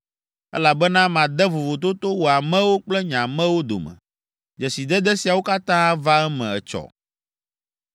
elabena made vovototo wò amewo kple nye amewo dome. Dzesidede siawo katã ava eme etsɔ.’ ”